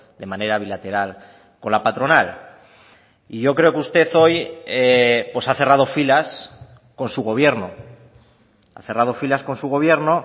de manera bilateral con la patronal y yo creo que usted hoy ha cerrado filas con su gobierno ha cerrado filas con su gobierno